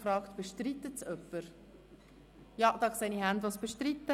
– Ja, ich sehe Hände, die es bestreiten.